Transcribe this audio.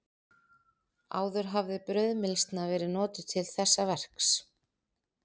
Áður hafði brauðmylsna verið notuð til þessa verks.